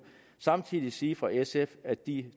samtidig sige fra sf at de